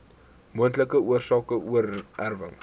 moontlike oorsake oorerwing